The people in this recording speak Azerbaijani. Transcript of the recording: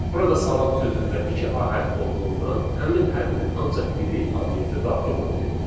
Burada salam sözündə iki a hərfi olduğundan həmin hərfin ancaq biri obyektə daxil olur.